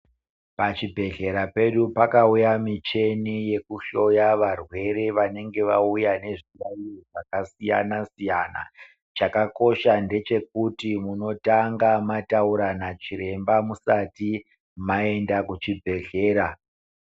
Pazvibhedhlera pedu pakauya micheni yekuhloya varwere vanenge vauya nezviyayo zvakasiyana siyana chakakosha ndechekuti unotanga mataura nachiremba musati maenda kuchibhedhlera.